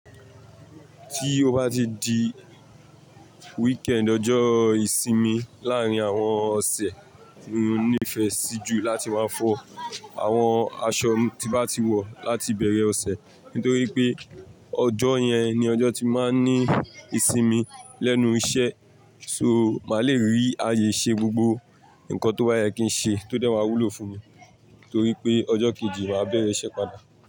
Tí o bá di weekend ọjọ́ ìsinmi láàárín àwọn ọ̀sẹ̀, mo nífẹ̀ẹ́ sí jù láti máa fọ àwọn aṣọ tí bá ti wọ̀ láti bẹ̀rẹ̀ ọ̀sẹ̀. Nítorí pé ọjọ́ yẹn ni ọjọ́ tí mo máa ń ní ìsinmi lẹ́nu iṣẹ́. So, màá le rí ààyè ṣe gbogbo ǹkan tó bá yẹ kí n ṣe tó dẹ́wà wúlò fún mi, torí pé ọjọ́ kejì màá bẹ̀rẹ̀ iṣẹ́ padà.